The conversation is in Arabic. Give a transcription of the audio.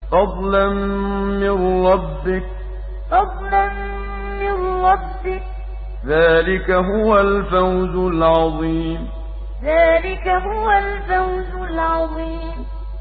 فَضْلًا مِّن رَّبِّكَ ۚ ذَٰلِكَ هُوَ الْفَوْزُ الْعَظِيمُ فَضْلًا مِّن رَّبِّكَ ۚ ذَٰلِكَ هُوَ الْفَوْزُ الْعَظِيمُ